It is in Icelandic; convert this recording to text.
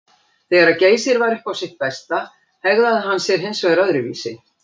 Þegar Geysir var upp á sitt besta hegðaði hann sér hins vegar öðruvísi.